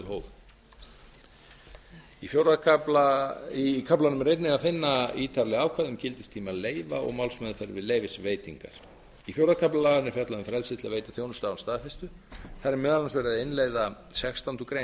og í samræmi við meðalhóf í kaflanum er einnig að finna á ítarleg ákvæði um gildistíma leyfa og málsmeðferð við leyfisveitingar í fjórða kafla laganna er fjallað um frelsi til að veita þjónustu án staðfestu þar er meðal annars verið að innleiða sextándu grein